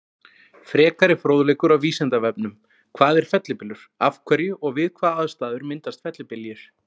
Frekari fróðleikur á Vísindavefnum: Hvað er fellibylur, af hverju og við hvaða aðstæður myndast fellibyljir?